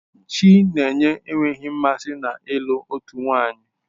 Chinenye enweghị mmasị na ịlụ otu nwanyị.